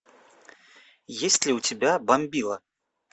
есть ли у тебя бомбила